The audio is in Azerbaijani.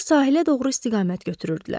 Onlar sahilə doğru istiqamət götürürdülər.